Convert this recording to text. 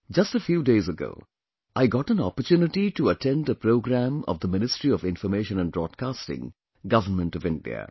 Just a few days ago, I got an opportunity to attend a program of Ministry of Information and Broadcasting, Government of India